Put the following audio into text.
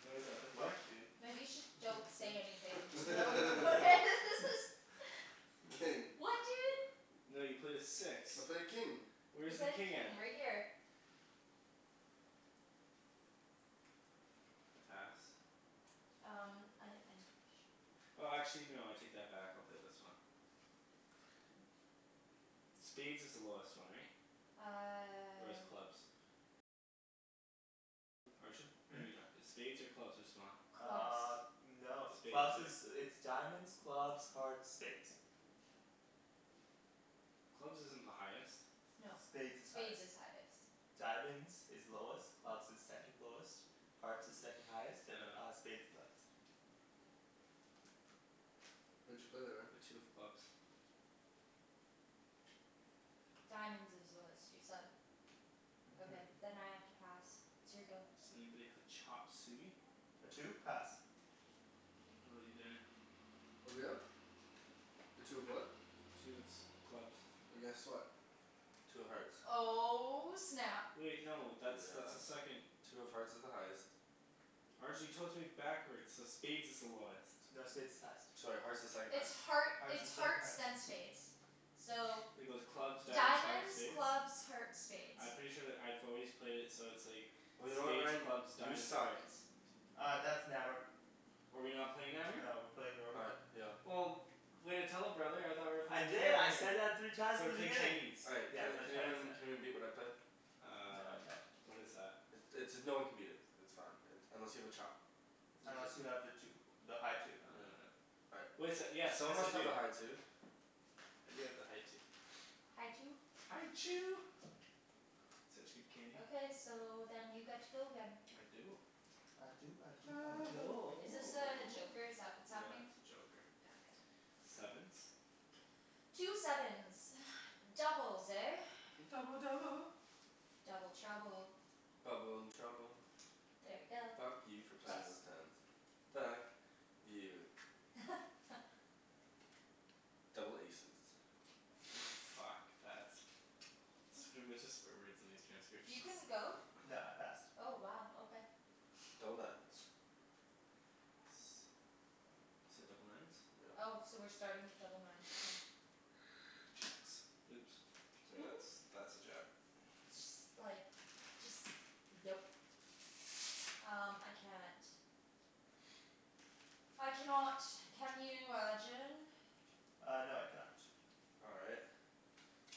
What is that, a The fuck, four? dude. Maybe you should, don't say anything, just no one will notice. King. What dude? No, you played a six. I played king. You Where's the played a king at? king, right here. Pass. Um I, I'm pretty sure. Oh actually no, I take that back, I'll play this one. Spades is the lowest one, right? Or is Uh clubs? Hmm? Maybe not. Spades or clubs, what's smaller? Uh. Clubs. No. Spades, Clubs is, right? it's diamonds, clubs, hearts, spades. Clubs isn't the highest. No. Spades is highest. Spades is highest. Diamonds is lowest, clubs is second lowest. Hearts is second highest, and uh Oh. spades is highest. What'd you play there, Ryan? A two of clubs. Diamonds is lowest, you said. Okay, Mhm. then I have to pass. It's your go. Does anybody have a chop suey? A two? Pass. How 'bout you, Daniel? What are we at? A two of what? Two of s- clubs. Well, guess what? Two of hearts. Oh snap. Wait no, that's that's a Yeah. second Two of hearts is the highest. Arjan you told it to me backwards, so spades is the lowest. No, spades is highest. Sorry, hearts is second It's highest. heart, Hearts it's is second hearts highest. then spades. So It goes clubs, diamonds, hearts, Diamonds, spades? clubs, hearts, spades. I'm pretty sure that I've always played it so it's like Well, you know what spades, Ryan? clubs, You diamonds, suck. hearts. Uh, that's Nammer. Oh are we not playing Nammer? No, we're playing Oh normal. right, yeah. Well way to tell a brother, I thought we were I playing did, Nammer I here. said that three times So in we're the playing beginning. Chinese. All right Yeah. can We're playing can Chinese, yeah. anyone can anyone beat what I played? No Um I can't. What is that? I- it's, no one can beat it. It's fine, it, unless you have a chop. Unless you have the two. The high two. Oh no I don't. All right. Wait so, yes Someone yes I must have a do. high two. I do have the high two. High two? High Chew. Such good candy. Okay, so then you get to go again. I do. I do I do I I do. do. Is this a joker, is that what's Yeah, happening? that's a joker. Yeah, okay. Sevens? Two sevens. Doubles, eh? Double double. Double trouble. Bubble and trouble. There we go. Fuck you for Pass. playing those tens. Fuck. You. Double aces. Fuck, pass. It's gonna be a bunch of swear words in these You transcriptions. couldn't go? No, I passed. Oh wow, okay. Double nines. Yes. You said double nines? Yep. Oh, so we're starting with double nines, okay. Jacks. Oops. Sorry that's, that's a jack. Just like Just, nope. Um, I can't. I cannot. Can you Arjan? Uh no, I can not. All right.